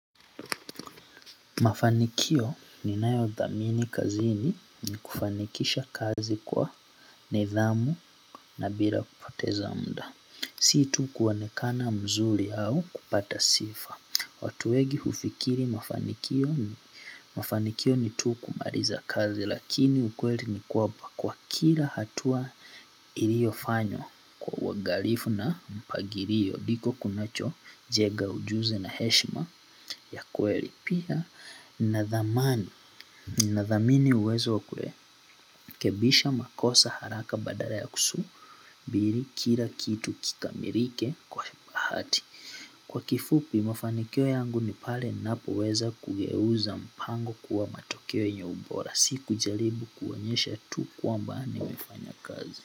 Mafanikio ninayothamini kazini ni kufanikisha kazi kwa nidhamu na bila kupoteza mda. Si tu kuonekana mzuri au kupata sifa. Watu wengi hufikiri mafanikio ni tu kumaliza kazi lakini ukweli ni kuwa kwa kila hatua iliofanywa kwa uangalifu na mpagilio. Ndiko kunachojega ujuzi na heshima ya kweli pia. Nathamani, nathamini uwezo wa kurekebisha makosa haraka badala ya kusu bili kila kitu kikamilike kwa hati kwa kifupi mafanikio yangu ni pale napoweza kugeuza mpango kuwa matokeo yenye ubora si kujaribu kuonyesha tu kwamba nimeifanya kazi.